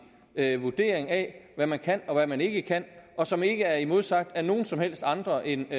vurdering af hvad man kan og hvad man ikke kan og som ikke er modsagt af nogen som helst andre end